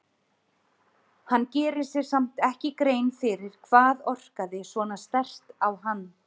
Hann gerir sér samt ekki grein fyrir hvað orkaði svona sterkt á hann.